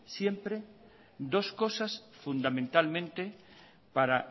siempre dos cosas fundamentalmente para